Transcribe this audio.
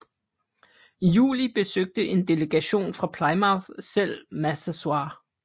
I juli besøgte en delegation fra Plymouth selv Massasoit